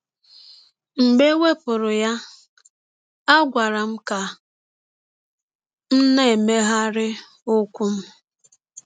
Mgbe e wepụrụ ya, a gwara m ka m na - emegharị ụkwụ m.